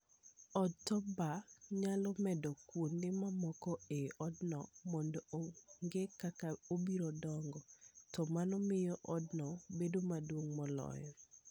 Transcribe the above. Od Top-Bar nyalo medo kuonde mamoko e odno mondo ong'e kaka obiro dongo, to mano miyo odno bedo maduong' moloyo.